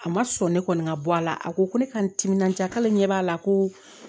A ma sɔn ne kɔni ka bɔ a la a ko ko ne ka n timinandiya k'ale ɲɛ b'a la ko